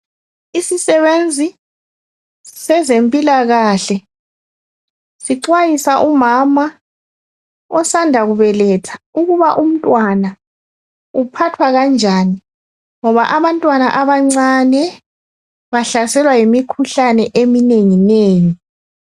Isisebenzi sezempilakahle sixwayisa umama osanda kubeletha ukuba umntwana uphathwa kanjani ngoba abantwana abancane bahlaselwa yimikhuhlane eminenginengi.